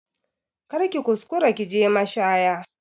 Kar ki kuskura ki je mashaya